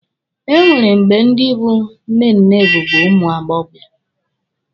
E nwere mgbe ndi bụ nnenne bụbu ụmụ agbọbịa